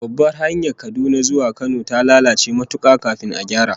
Babbar hanyar Kaduna zuwa Kano da ta lalace matuka kafin a gyara